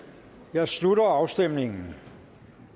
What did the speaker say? jeg slutter afstemningen